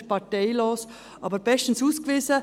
Er ist parteilos, aber bestens ausgewiesen.